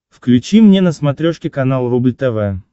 включи мне на смотрешке канал рубль тв